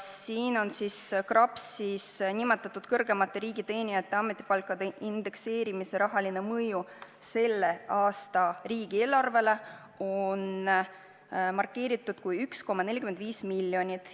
Siin on kirjas KRAPS-is nimetatud kõrgemate riigiteenijate ametipalkade indekseerimise rahaline mõju selle aasta riigieelarvele: see oleks 1,45 miljonit.